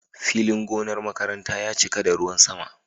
Filin gonar makaranta ya cika da ruwan sama.